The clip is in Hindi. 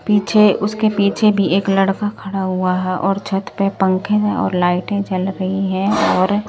पीछे उसके पीछे भी एक लड़का खड़ा हुआ है और छत पे पंखे और लाइटें जल रही हैं और--